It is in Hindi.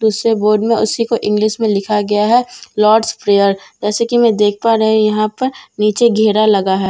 दूसरे बोर्ड में उसी को इंगलिश में लिखा गया है लोर्डस प्रेयर जैसे के मैं देख पा रही हूं यहां पर नीचे घेरा लगा है।